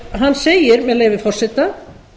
hann segir með leyfi forseta